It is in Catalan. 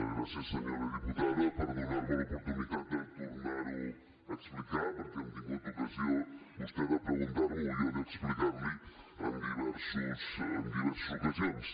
gràcies senyora diputada per donar me l’oportunitat de tornar ho a explicar perquè hem tingut ocasió vostè de preguntar m’ho i jo d’explicar li en diverses ocasions